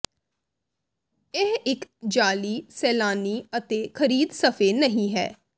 ਇਹ ਇੱਕ ਜਾਅਲੀ ਸੈਲਾਨੀ ਅਤੇ ਖਰੀਦੇ ਸਫ਼ੇ ਨਹੀ ਹੈ